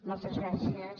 moltes gràcies